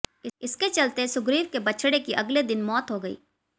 इसके चलते सुग्रीव के बछड़े की अगले दिन मौत हो गई